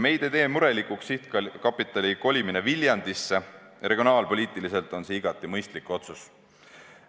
Meid ei tee murelikuks sihtkapitali kolimine Viljandisse, regionaalpoliitiliselt on see igati mõistlik otsus.